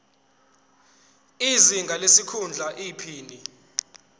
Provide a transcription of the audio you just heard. izinga lesikhundla iphini